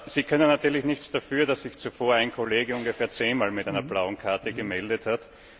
Sie können natürlich nichts dafür, dass sich zuvor ein Kollege ungefähr zehnmal mit einer blauen Karte gemeldet hat.